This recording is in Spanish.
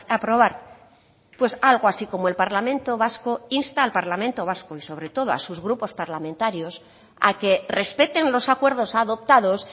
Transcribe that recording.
aprobar pues algo así como el parlamento vasco insta al parlamento vasco y sobre todo a sus grupos parlamentarios a que respeten los acuerdos adoptados